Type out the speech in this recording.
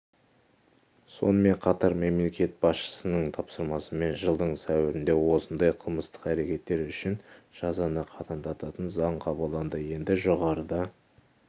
сонымен қатар мемлекет басшысының тапсырмасымен жылдың сәуіріндеосындай қылмыстық әрекеттер үшін жазаны қатаңдататын заң қабылданды енді жоғарыда